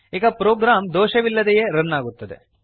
ಈಗ ಪ್ರೋಗ್ರಾಮ್ ದೋಷ ಇಲ್ಲದೆಯೇ ರನ್ ಆಗುತ್ತದೆ